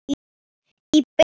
Í byggð